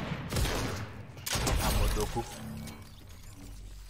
Amodoku.